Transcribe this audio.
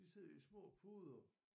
De sidder i små puder